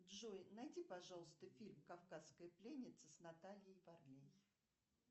джой найди пожалуйста фильм кавказская пленница с натальей варлей